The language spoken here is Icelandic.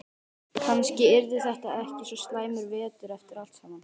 Kannski yrði þetta ekki svo slæmur vetur eftir allt saman.